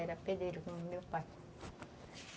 Era pedreiro como meu pai.